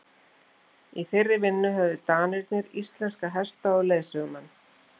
Í þeirri vinnu höfðu Danirnir íslenska hesta og leiðsögumenn.